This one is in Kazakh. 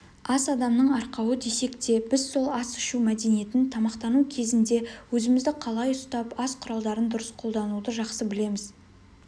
ас адамның арқауы десек те біз сол ас ішу мәдениетін тамақтану кезінде өзімізді қалай ұстап ас құралдарын дұрыс қолдануды жақсы білеміз